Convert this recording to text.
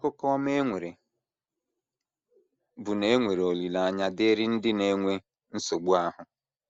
Akụkọ ọma e nwere bụ na e nwere olileanya dịịrị ndị na - enwe nsogbu ahụ.